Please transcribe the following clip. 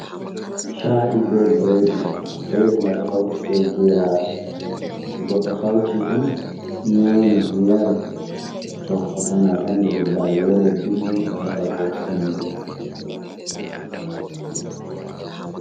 Sha’i be bredi. Bredi mai ɗo hauti be geraɗe. To goɗɗo hauti ɗum nyami, yari, to o nana Alhamdulillahi, welo dilli o heɓai bo sembe.